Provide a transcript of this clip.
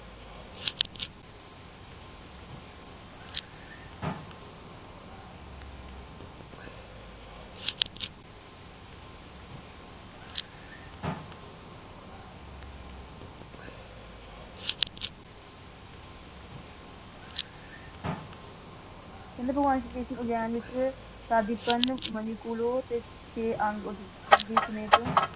ਕਹਿੰਦੇ ਭਗਵਾਨ ਇਸ ਸੰਗਯਾਨ ਵਿਚ ਸਾਡੀ ਪਨ ਮਨੀ ਕੁਲੋਂ ਤੇ ਦੇ ਸਮੇਤ